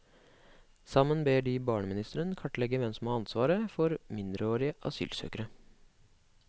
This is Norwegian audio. Sammen ber de barneministeren klarlegge hvem som har ansvaret for mindreårige asylsøkere.